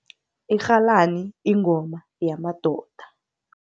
Irhalani ingoma yamadoda.